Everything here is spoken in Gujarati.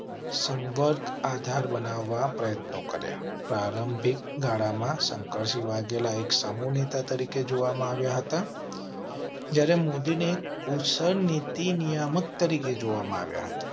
સંવર્ગ આધાર બનાવવા પ્રયત્નો કર્યા. પ્રારંભિક ગાળામાં શંકરસિંહ વાઘેલા એક સમૂહ નેતા તરીકે જોવા માં આવ્યા હતા. જયારે મોદી ને નીતિ નિયામક તરીકે જોવા માં આવ્યા હતા